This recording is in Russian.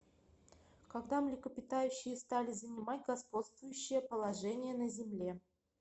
когда млекопитающие стали занимать господствующее положение на земле